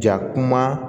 Ja kuma